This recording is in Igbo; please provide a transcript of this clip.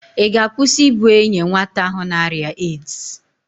Ị ga̧-akwụsị i bu enye nwata ahụ n'arịa AIDS?